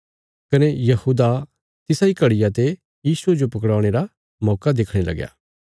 कने यहूदा तिसा इ घड़िया ते यीशुये जो पकड़वाणे रा मौका देखणे लगया